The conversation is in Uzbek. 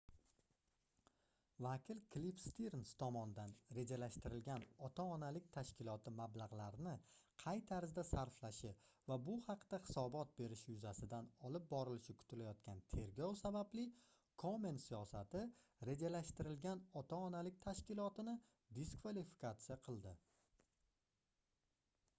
vakil kliff stirns tomonidan rejalashtirilgan ota-onalik tashkiloti mablagʻlarni qay tarzda sarflashi va bu haqda hisobot berishi yuzasidan olib borilishi kutilayotgan tergov sababli komen siyosati rejalashtirilgan ota-onalik tashkilotini diskvalifikatsiya qildi